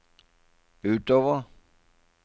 utover